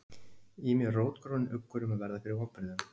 Í mér rótgróinn uggur um að verða fyrir vonbrigðum